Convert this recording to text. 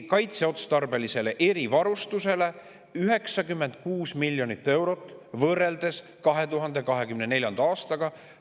– kaitseotstarbelisele erivarustusele 96 miljonit eurot võrreldes 2024. aastaga.